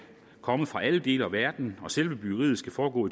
komme fra alle dele af verden og selve byggeriet skal foregå